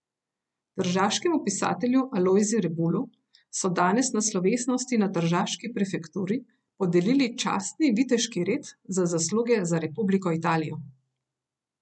Tržaškemu pisatelju Alojzi Rebulu so danes na slovesnosti na tržaški prefekturi podelili častni viteški red za zasluge za Republiko Italijo.